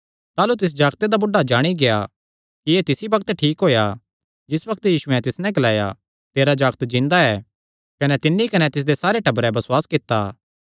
ताह़लू तिस जागते दा बुढ़ा जाणी गेआ कि एह़ तिसी बग्त ठीक होएया जिस बग्त यीशुयैं तिस नैं ग्लाया तेरा जागत जिन्दा ऐ कने तिन्नी कने तिसदे सारे टबरें बसुआस कित्ता